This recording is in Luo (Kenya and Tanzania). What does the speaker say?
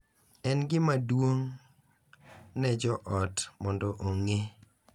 En gima duong’ ne jo ot mondo ong’e